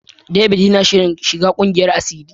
David yana shirin shiga kungiyar asiri.